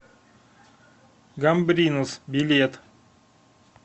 гамбринус билет